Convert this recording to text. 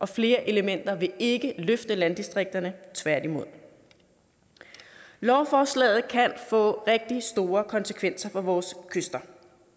flere elementer vil ikke løfte landdistrikterne tværtimod lovforslaget kan få rigtig store konsekvenser for vores kyster